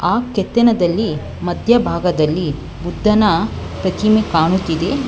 ಆ ಕೆತ್ತನದಲ್ಲಿ ಮಧ್ಯಭಾಗದಲ್ಲಿ ಬುದ್ದನ ಪ್ರತಿಮೆ ಕಾಣುತ್ತಿದೆ.